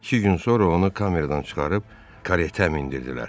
İki gün sonra onu kameradan çıxarıb karetə mindirdilər.